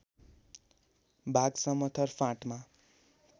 भाग समथर फाँटमा